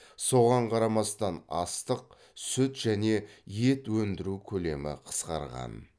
соған қарамастан астық сүт және ет ендіру көлемі қысқарған